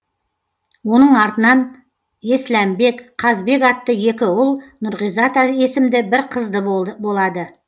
оның артынан есләмбек қазбек атты екі ұл нұрғизат есімді бір қызды болады